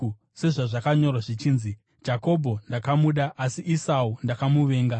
Sezvazvakanyorwa zvichinzi: “Jakobho ndakamuda, asi Esau ndakamuvenga.”